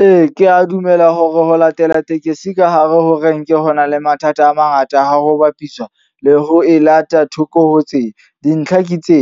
Ee, ke a dumela hore ho latela tekesi ka hare ho renke ho na le mathata a mangata ha ho bapiswa le ho e lata thoko hotseng. Dintlha ke tse,